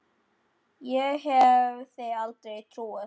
Ég hefði aldrei trúað því.